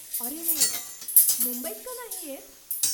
अरेरे, मुंबईत का नाही येत?